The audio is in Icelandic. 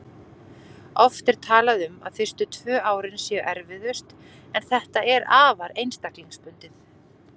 Oft er talað um að fyrstu tvö árin séu erfiðust en þetta er afar einstaklingsbundið.